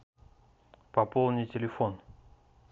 пополни телефон